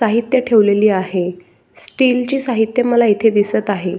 साहित्य ठेवलेली आहे. स्टीलची साहित्य मला इथे दिसत आहे.